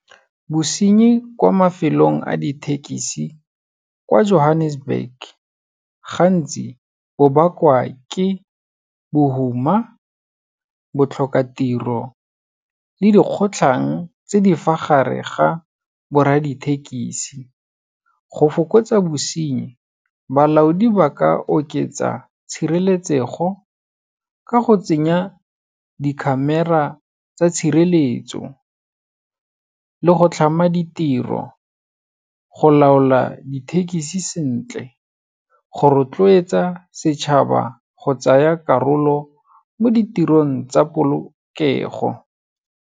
Bosenyi kwa mafelong a ditekisi, kwa Johannesburg, gantsi bo bakwa ke bohuma, botlhokatiro le dikgotlhang tse di fa gare ga borra dithekisi. Go fokotsa bosenyi, balaodi ba ka oketsa tshireletsego ka go tsenya di-camera tsa tshireletso, le go tlhama ditiro, go laola dithekisi sentle, go rotloetsa setšhaba go tsaya karolo mo ditirong tsa polokego.